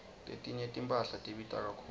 letinye timphahla tibita kakhulu